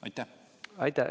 Aitäh!